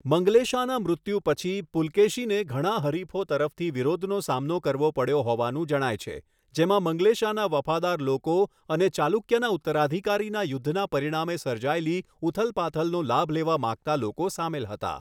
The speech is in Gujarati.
મંગલેશાના મૃત્યુ પછી, પુલકેશીને ઘણા હરીફો તરફથી વિરોધનો સામનો કરવો પડ્યો હોવાનું જણાય છે, જેમાં મંગલેશાના વફાદાર લોકો અને ચાલુક્યના ઉત્તરાધિકારીના યુદ્ધના પરિણામે સર્જાયેલી ઉથલપાથલનો લાભ લેવા માંગતા લોકો સામેલ હતા.